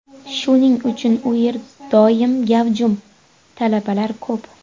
Shuning uchun u yer doim gavjum, talabalar ko‘p.